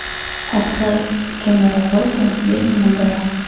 открой киноработу ведьмина гора